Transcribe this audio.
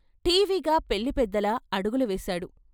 ఠీవిగా పెళ్ళి పెద్దలా అడుగులు వేశాడు.